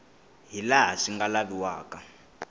hi laha swi nga laviwaka